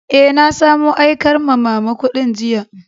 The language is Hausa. Eh, na samo aikar ma'mama kudin jiya.